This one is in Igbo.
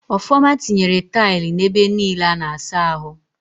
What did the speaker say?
Ọfọma tinyere taịlụ n'ebe niile a na-asa ahụ